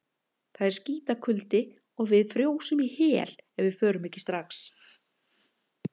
Það er skítakuldi og við frjósum í hel ef við förum ekki strax.